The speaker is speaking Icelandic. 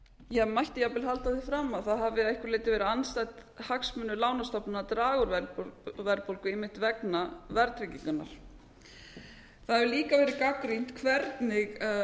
verðbólguna ég mætti jafnvel halda því fram að það hafi að einhverju leyti verið andstætt lánastofnana að draga úr verðbólgu einmitt vegna verðtryggingarinnar það hefur líka verið gagnrýnt hvernig